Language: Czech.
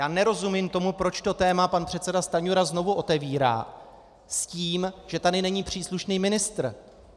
Já nerozumím tomu, proč to téma pan předseda Stanjura znovu otevírá s tím, že tady není příslušný ministr.